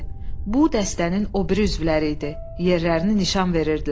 Bu dəstənin o biri üzvləri idi, yerlərini nişan verirdilər.